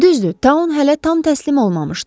Düzdür, taun hələ tam təslim olmamışdı.